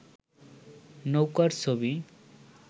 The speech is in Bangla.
নৌকার ছবি